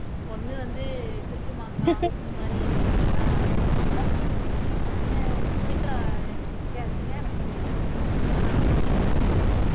ஒண்ணு வந்து திருட்டு மாங்காய் இந்த மாதிரிதான் ஈடுபடுவோம் ஆஹ் சுமித்ரா சிரிக்காதீங்க எனக்கு கொஞ்சம் அசிங்கமா இருக்கு மதுமதி நீங்களே சொல்லுங்க